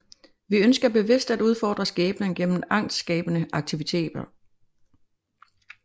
Vi ønsker bevidst at udfordre skæbnen gennem angstskabende aktiviteter